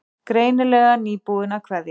Greinilega nýbúin að kveðja.